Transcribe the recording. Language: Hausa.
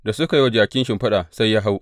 Da suka yi wa jakin shimfiɗa, sai ya hau.